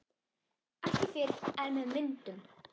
Ekki fyrr en með myndum